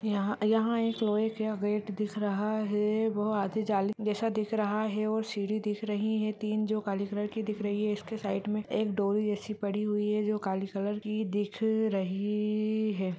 यहां एक लोहे का गेट दिख रहा है वो आधे जाली जैसा दिख रहा है और सीढ़ी दिख रही है तीन जो काले कलर की दिख रही है उसके साइड में डोरी जैसी पड़ी है जो काले कलर की दिख रही है।